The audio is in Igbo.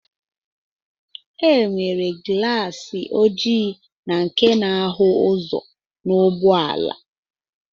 E nwere glaasi oji na nke na-ahụ ụzọ n'ụgbọala